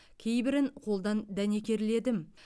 кейбірін қолдан дәнекерледім